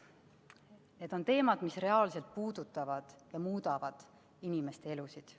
Need on teemad, mis reaalselt puudutavad ja muudavad inimeste elusid.